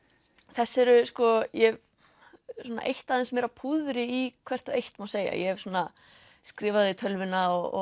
þessi eru sko ég hef eytt aðeins meira púðri í hvert og eitt má segja ég hef skrifað þau í tölvuna og